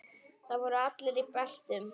Þar voru allir í beltum.